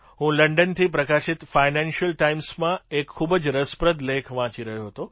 હું લંડનથી પ્રકાશિત ફાઇનાન્સિયલ ટાઇમ્સમાં એક ખૂબ જ રસપ્રદ લેખ વાંચી રહ્યો હતો